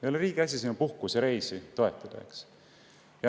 Ei ole riigi asi sinu puhkusereisi toetada.